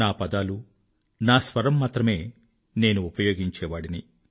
నా పదాలు నా స్వరం మాత్రమే నేను ఉపయోగించేవాడిని